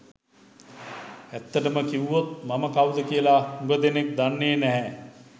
ඇත්තටම කිව්වොත් මම කවුද කියලා හුඟ දෙනෙක් දන්නේ නැහැ.